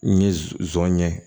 N ye z zon ye